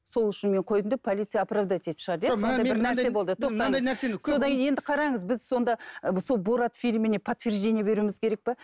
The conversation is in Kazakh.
сол үшін мен қойдым деп полиция оправдать етіп шығарды иә сонда енді қараңыз біз сонда сол борат фильміне подтверждение беруіміз керек пе